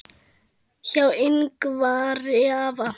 Hjá Yngvari afa